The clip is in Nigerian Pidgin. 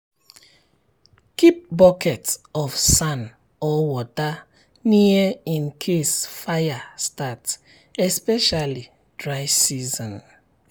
keep bucket of sand or water near in case fire start especially dry season. season.